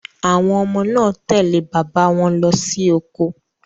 Àwọn ọmọ náà tẹ̀lé bàbá wọn lọsí oko.